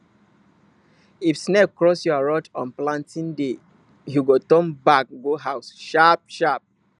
if snake cross your road on planting day you go turn back go house sharpsharp